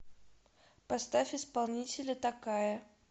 поставь исполнителя такая